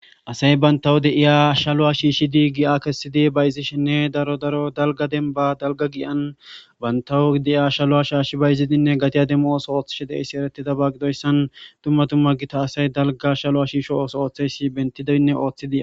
Hasay bantawu deiya shalo7a shiishshidi gi7a kessidi ba izishenne daro daro dalga demba dalga giyan bantawu deiya shalu7a shaashi ba izidinne gatiya demo ooso ooththishe deessi eretida baagidoyssan tumma tumma gita asay dalga shalo7a shiisho ooso ooththeysi bentidabinne ooththidi.